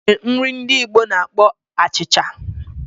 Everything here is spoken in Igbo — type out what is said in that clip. O nwere nri ndi Igbo na-akpọ achịcha.